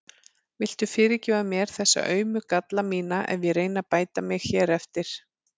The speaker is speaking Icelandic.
Viltu fyrirgefa mér þessa aumu galla mína ef ég reyni að bæta mig hér eftir?